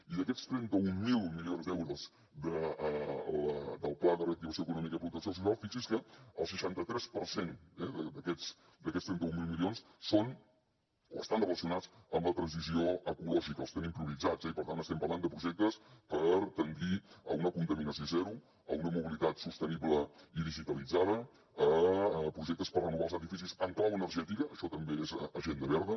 i d’aquests trenta mil milions d’euros del pla de reactivació econòmica i protecció social fixi’s que el seixanta tres per cent eh d’aquests trenta mil milions són o estan relacionats amb la transició ecològica els tenim prioritzats i per tant estem parlant de projectes per tendir a una contaminació zero a una mobilitat sostenible i digitalitzada projectes per renovar els edificis en clau energètica això també és agenda verda